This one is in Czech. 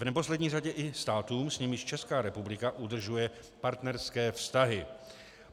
V neposlední řadě i státům, s nimiž Česká republika udržuje partnerské vztahy.